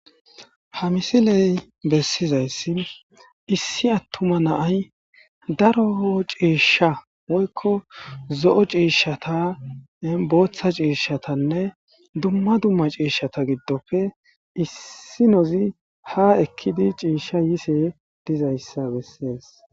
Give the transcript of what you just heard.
Ha misiley bessizayssi issi attuma naay daro ciishsha woykko zo7o ciishshata booththa ciishshatanne dumma dumma ciishshata giddofe issinozi ha ekkidi ciishsha yise dizayssa bessees